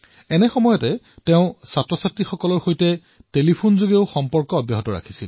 ইয়াৰ লগতে তেওঁ শিক্ষাৰ্থীসকলৰ সৈতে ফোনতো কথা পাতি থাকিল